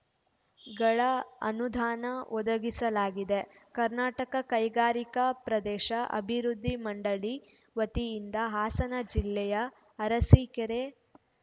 ಗಳ ಅನುದಾನ ಒದಗಿಸಲಾಗಿದೆ ಕರ್ನಾಟಕ ಕೈಗಾರಿಕಾ ಪ್ರದೇಶ ಅಭಿವೃದ್ಧಿ ಮಂಡಳಿ ವತಿಯಿಂದ ಹಾಸನ ಜಿಲ್ಲೆಯ ಅರಸಿಕೆರೆ